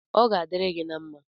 Ọ ga-adiri gị na mma